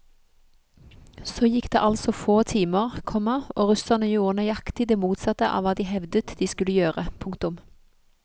Så gikk det altså få timer, komma og russerne gjorde nøyaktig det motsatte av hva de hevdet de skulle gjøre. punktum